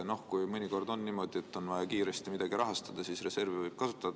Noh, mõnikord on niimoodi, et kui on vaja kiiresti midagi rahastada, siis võib reservi kasutada.